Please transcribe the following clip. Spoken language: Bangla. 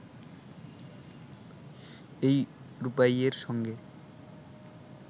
এই রূপাইয়ের সঙ্গে